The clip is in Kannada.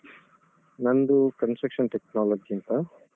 ನಂದು Construction Technology ಅಂತ.